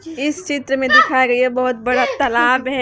इस चित्र में दिखा गई है बहोत बड़ा तालाब है ये--